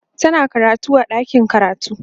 tana karatu a ɗakin karatu